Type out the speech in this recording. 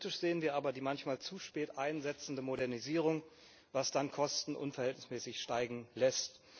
Kritisch sehen wir aber die manchmal zu spät einsetzende Modernisierung, was dann Kosten unverhältnismäßig steigen lässt.